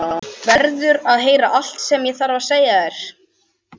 Verður að heyra allt sem ég þarf að segja.